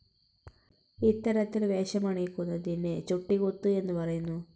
ഇത്തരത്തിൽ വേഷമണിയിക്കുന്നതിന് ചുട്ടികുത്ത് എന്നു പറയുന്നു.